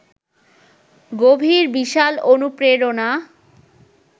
গভীর, বিশাল অনুপ্রেরণা